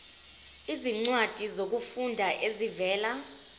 izincwadi zokufunda ezivela